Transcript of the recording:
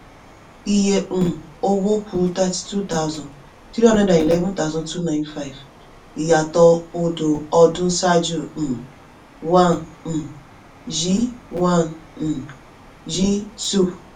iye um owó ku thirty-two thousand, three hundred and eleven thousand two ninety five ìyàtọ̀ọ odò ọdún sáájú um one um yí one um yí two